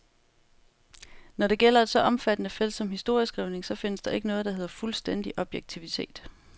Når det gælder et så omfattende felt som historieskrivningen, så findes der ikke noget, der hedder fuldstændig objektivitet.